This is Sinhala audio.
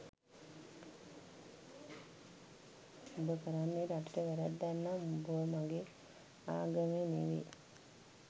උඹ කරන්නේ රටට වැරැද්දක් නම් උඹ මගෙ ආගමේ නෙමෙයි